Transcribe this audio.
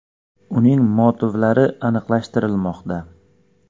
Uning motivlari aniqlashtirilmoqda.